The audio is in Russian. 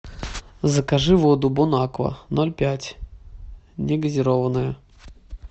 закажи воду бонаква ноль пять негазированную